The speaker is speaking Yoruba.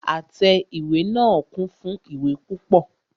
Àtẹ ìwé náà kún fún ìwé púpọ.